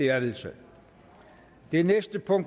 er vedtaget